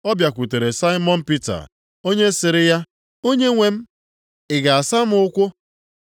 Ọ bịakwutere Saimọn Pita, onye sịrị ya, “Onyenwe m, ị ga-asa m ụkwụ?”